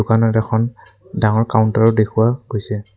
দোকানত এখন ডাঙৰ কাউনটাৰও দেখুওৱা গৈছে।